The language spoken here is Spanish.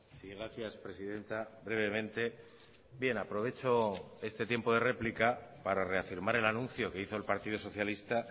sí gracias presidenta brevemente bien aprovecho este tiempo de réplica para reafirmar el anuncio que hizo el partido socialista